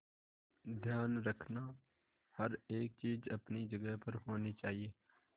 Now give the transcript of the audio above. ध्यान रखना हर एक चीज अपनी जगह पर होनी चाहिए